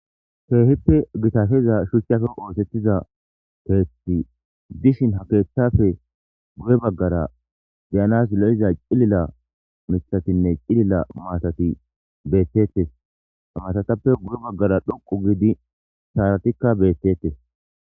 Keehippe gitafeza shuchchafe oosettiza keethti dishin ha keeththafe guye baggara geyanas lo7iza cilila mithatinne cilila maatati beettettes amatatappe guye baggara dhoqu giidi saaratikka beettettes.